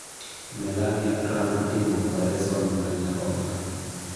Melania Trump itimo opareson mar nyarogno